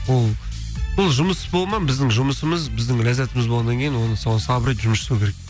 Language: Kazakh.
ол сол жұмыс болады ма біздің жұмысымыз біздің ләззатымыз болғаннан кейін оны соған сабыр етіп жұмыс жасау керек